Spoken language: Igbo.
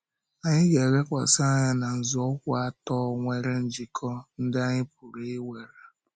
Anyị ga-elekwasị anya na nzọụkwụ atọ nwere njikọ ndị anyị pụrụ ị̀were.